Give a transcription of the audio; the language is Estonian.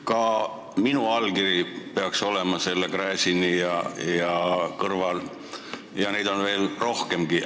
Ka minu allkiri peaks olema Gräzini oma kõrval, ja neid on rohkemgi.